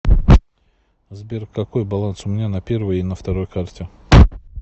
сбер какой баланс у меня на первой и на второй карте